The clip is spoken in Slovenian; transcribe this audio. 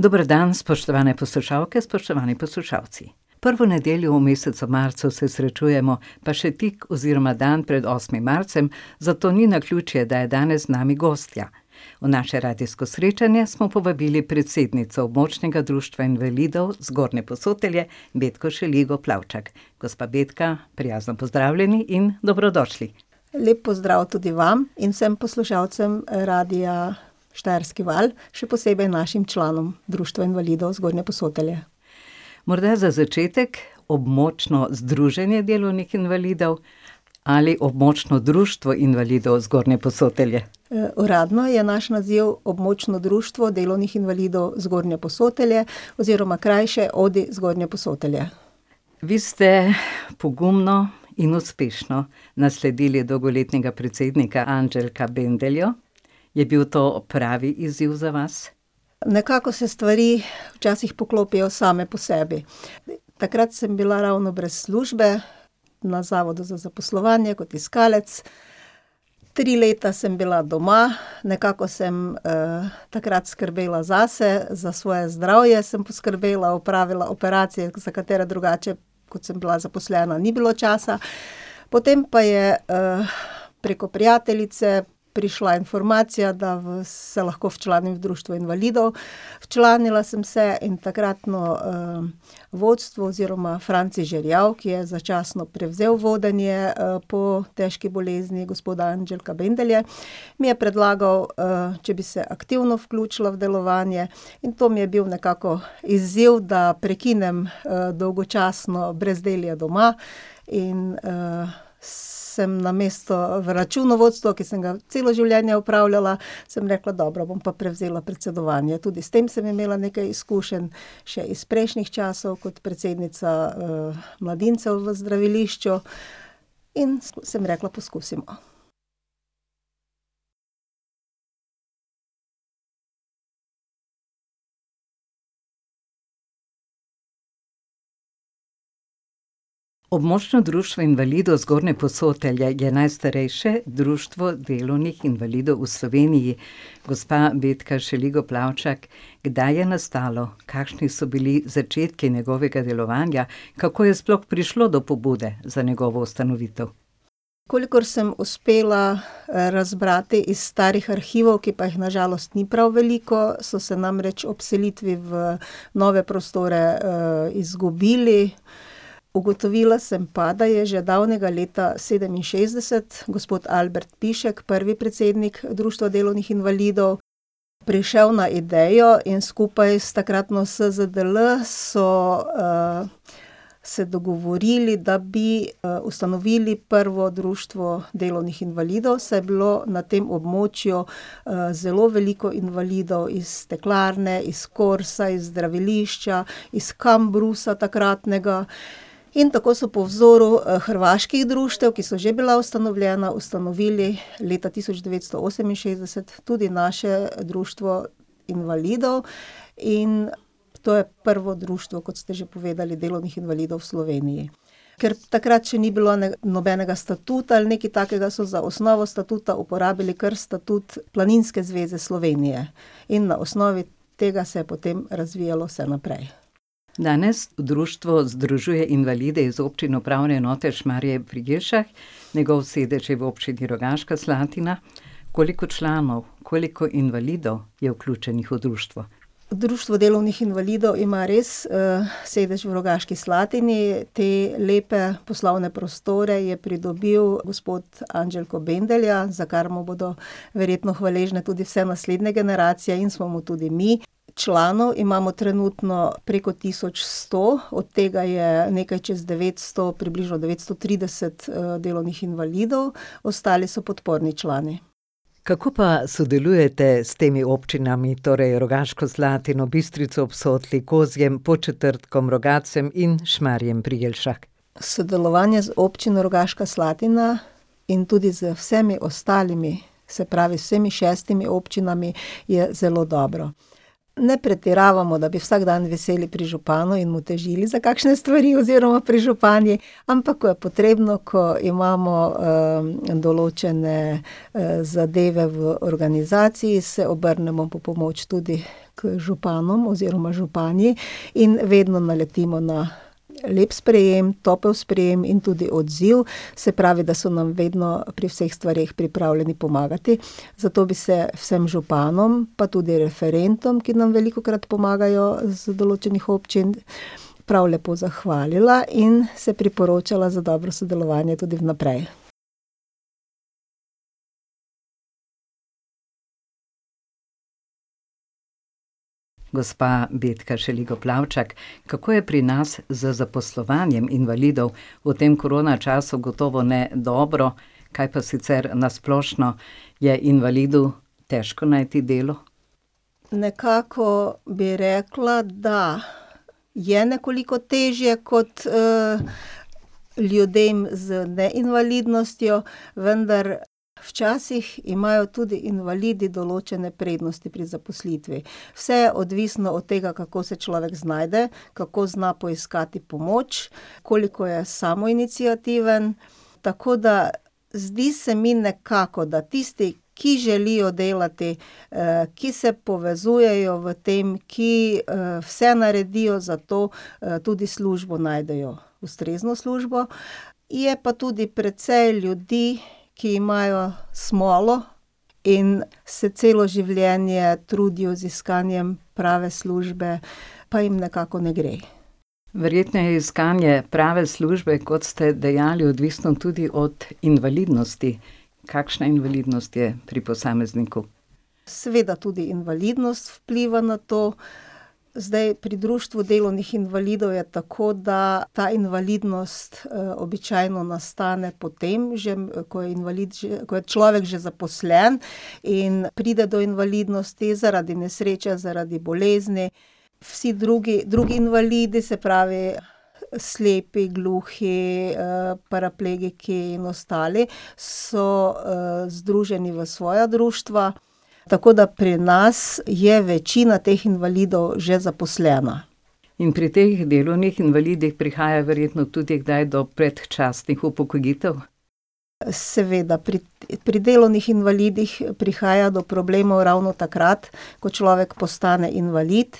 Dober dan, spoštovane poslušalke, spoštovani poslušalci. Prvo nedeljo v mesecu marcu se srečujemo, pa še tik oziroma dan pred osmim marcem, zato ni naključje, da je danes z nami gostja. V naše radijsko srečanje smo povabili predsednico Območnega društva invalidov Zgornje Posotelje, Betko Šeligo Plavčak. Gospa Betka, prijazno pozdravljeni in dobrodošli. Lep pozdrav tudi vam in vsem poslušalcem, Radia Štajerski val, še posebej našim članom Društva invalidov Zgornje Posotelje. Morda za začetek, Območno združenje delovnih invalidov ali Območno društvo invalidov Zgornje Posotelje? uradno je naš naziv Območno društvo delovnih invalidov Zgornje Posotelje oziroma krajše ODDI Zgornje Posotelje. Vi ste pogumno in uspešno nasledili dolgoletnega predsednika Andželka Bendeljo. Je bil to pravi izziv za vas? Nekako se stvari včasih poklopijo same po sebi. Takrat sem bila ravno brez službe, na Zavodu za zaposlovanje kot iskalec. Tri leta sem bila doma, nekako sem, takrat skrbela zase, za svoje zdravje sem poskrbela, opravila operacije, za katere drugače, ko sem bila zaposlena, ni bilo časa. Potem pa je, preko prijateljice prišla informacija, da se lahko včlanim v Društvo invalidov. Včlanila sem se in takratno, vodstvo oziroma Franci Žerjav, ki je začasno prevzel vodenje, po težki bolezni gospoda Andželka Bendelje, mi je predlagal, če bi se aktivno vključila v delovanje. In to mi je bil nekako izziv, da prekinem, dolgočasno brezdelje doma. In, sem namesto v računovodstvu, ki sem ga celo življenje opravljala, sem rekla: "Dobro, bom pa prevzela predsedovanje." Tudi s tem sem imela nekaj izkušenj, še iz prejšnjih časov kot predsednica, Mladincev v zdravilišču. In sem rekla, poskusimo. Območno društvo invalidov Zgornje Posotelje je najstarejše društvo delovnih invalidov v Sloveniji. Gospa Betka Šeligo Plavčak, kdaj je nastalo? Kakšni so bili začetku njegovega delovanja? Kako je sploh prišlo do pobude za njegovo ustanovitev? Kolikor sem uspela razbrati iz starih arhivov, ki pa jih na žalost ni prav veliko, so se namreč ob selitvi v nove prostore, izgubili, ugotovila sem pa, da je že davnega leta sedeminšestdeset gospod Albrt Pišek, prvi predsednik Društva delovnih invalidov, prišel na idejo in skupaj s takratno SZDL so, se dogovorili, da bi, ustanovili prvo društvo delovnih invalidov, saj je bilo na tem območju, zelo veliko invalidov iz steklarne, iz Korsa, iz zdravilišča, iz Kambrusa takratnega. In tako so po vzoru, hrvaških društev, ki so že bila ustanovljena, ustanovili leta tisoč devetsto oseminšestdeset tudi naše društvo invalidov. In to je prvo društvo, kot ste že povedali, delovnih invalidov v Sloveniji. Ker takrat še ni bilo nobenega statuta ali nekaj takega, so za osnovo statuta uporabili kar statut Planinske zveze Slovenije. In na osnovi tega se je potem razvijalo vse naprej. Danes društvo združuje invalide iz občin Upravne enote Šmarje pri Jelšah, njegov sedež je v Občini Rogaška Slatina. Koliko članov, koliko invalidov je vključenih v društvo? Društvo delovnih invalidov ima res, sedež v Rogaški Slatini, te lepe poslovne prostore je pridobil gospod Andželko Bendelja, za kar mu bodo verjetno hvaležne tudi vse naslednje generacije in smo mu tudi mi. Članov imamo trenutno preko tisoč sto od tega je nekaj čez devetsto približno devetsto trideset, delovnih invalidov. Ostali so podporni člani. Kako pa sodelujete s temi občinami, torej Rogaško Slatino, Bistrico ob Sotli, Kozjim, Podčetrtkom, Rogatcem in Šmarjem pri Jelšah? Sodelovanje z Občino Rogaška Slatina in tudi z vsemi ostalimi, se pravi s vsemi šestimi občinami je zelo dobro. Ne pretiravamo, da bi vsak dan viseli pri županu in mu težili za kakšne stvari, oziroma pri županji, ampak ko je potrebno, ko imamo, določene, zadeve v organizaciji, se obrnemo po pomoč tudi k županom oziroma županji in vedno naletimo na lep sprejem, topel sprejem in tudi odziv, se pravi, da so nam vedno pri vseh stvareh pripravljeni pomagati, zato bi se vsem županom pa tudi referentom, ki nam velikokrat pomagajo z določenih občin, prav lepo zahvalila in se priporočala za dobro sodelovanje tudi vnaprej. Gospa Betka Šeligo Plavčak, kako je pri nas z zaposlovanjem invalidov, v tem koronačasu gotovo ne dobro. Kaj pa sicer, na splošno? Je invalidu težko najti delo? Nekako bi rekla, da je nekoliko težje kot, ljudem z neinvalidnostjo, vendar včasih imajo tudi invalidi določene prednosti pri zaposlitvi. Vse je odvisno od tega, kako se človek znajde, kako zna poiskati pomoč, koliko je samoiniciativen, tako da zdi se mi nekako, da tisti, ki želijo delati, ki se povezujejo v tem, ki, vse naredijo za to, tudi službo najdejo, ustrezno službo. Je pa tudi precej ljudi, ki imajo smolo in se celo življenje trudijo z iskanjem prave službe, pa jim nekako ne gre. Verjetno je iskanje prave službe, kot ste dejali, odvisno tudi od invalidnosti. Kakšna invalidnost je pri posamezniku? Seveda tudi invalidnost vpliva na to. Zdaj pri Društvu delovnih invalidov je tako, da ta invalidnost, običajno nastane, potem že ko je invalid že, ko je človek že zaposlen, in pride do invalidnosti zaradi nesreče, zaradi bolezni. Vsi drugi, drugi invalidi, se pravi slepi, gluhi, paraplegiki in ostali so, združeni v svoja društva, tako da pri nas je večina teh invalidov že zaposlena. In pri teh delovnih invalidih prihaja verjetno tudi kdaj do predčasnih upokojitev? Seveda, pri, pri delovnih invalidih prihaja do problemov ravno takrat, ko človek postane invalid